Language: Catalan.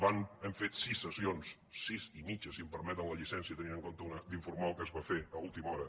hem fet sis sessions sis i mitja si em permeten la lli·cència tenint en compte una d’informal que es va fer a última hora